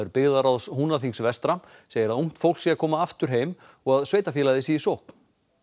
byggðarráðs Húnaþings vestra segir að ungt fólk sé að koma aftur heim og sveitarfélagið sé í sókn